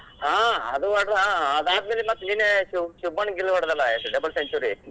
ಹಾ ಅದು ಹೊಡದಾ ಆದ್ ಆದ್ಮೇಲೆ ಮತ್ ನಿನ್ನೆ ಶಿವಪನ್ ಹೊಡದಲಾ double century .